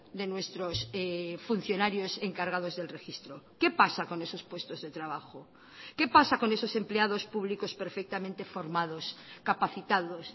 de nuestros funcionarios encargados del registro qué pasa con esos puestos de trabajo qué pasa con esos empleados públicos perfectamente formados capacitados